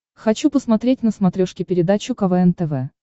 хочу посмотреть на смотрешке передачу квн тв